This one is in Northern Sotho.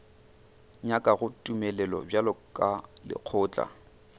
nyakago tumelelo bjalo ka lekgotla